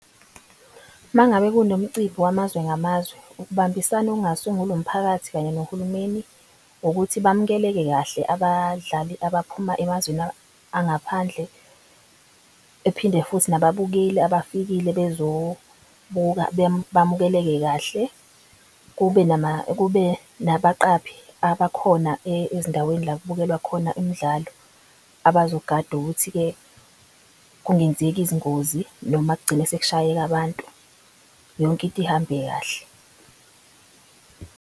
Mangabe kunomcimbi wamazwe ngamazwe ukubambisana okungasungula umphakathi kanye nohulumeni. Ukuthi bamukeleke kahle abadlali abaphuma emazweni angaphandle ephinde futhi nababukeli abafikile bezobuka bamukeleke kahle. Kube nabaqaphi abakhona ezindaweni la kubukelwa khona imidlalo abazogada ukuthi-ke kungenzeki izingozi noma kugcine sekushayeka abantu. Yonke into ihambe kahle.